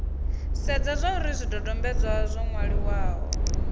sedze zwauri zwidodombedzwa zwo nwaliwaho